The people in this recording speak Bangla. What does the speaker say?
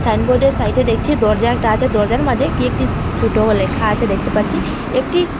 সাইনবোর্ডের সাইটে দেখছি দরজা একটা আছে দরজার মাঝে কি একটি ছোট লেখা আছে দেখতে পাচ্ছি একটি--